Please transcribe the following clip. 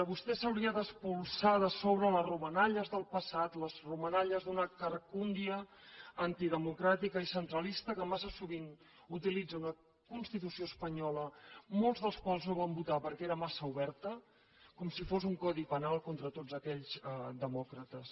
vostè s’hauria d’espolsar de sobre les romanalles del passat les romanalles d’una carcundia antidemocràtica i centralista que massa sovint utilitza una constitució espanyola molts dels quals no van votar perquè era massa oberta com si fos un codi penal contra tots aquells demòcrates